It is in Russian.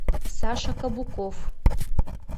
саша кабуков